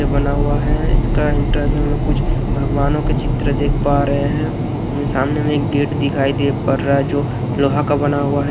बना हुआ है। इसके एंट्रेंस में हम लोग कुछ भगवानों के चित्र देख पा रहे हैं। सामने में एक गेट दिखाई दे पड़ रहा हैं जो लोहा का बना हुआ हैं।